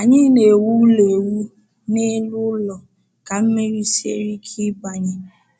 Anyị na-ewu ụlọ ewu n’elu ala ka mmiri siere ike ịbanye